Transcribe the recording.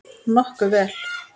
Nokkuð vel.